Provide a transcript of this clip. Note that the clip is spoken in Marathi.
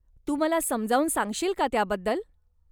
तू मला समजावून सांगशील का त्याबद्दल ?